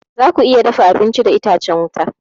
Zaku iya dafa abinci da itacen wuta.